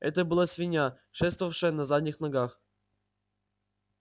это была свинья шествовавшая на задних ногах